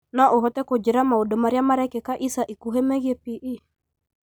No ũhote kũnjĩra maũndũ marĩa marekĩka ica ikuhĩ megiĩ p.e